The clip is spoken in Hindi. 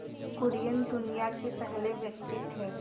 कुरियन दुनिया के पहले व्यक्ति थे